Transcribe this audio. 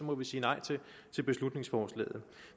må vi sige nej til beslutningsforslaget